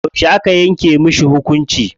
Yauce aka yanke mashi hukunci?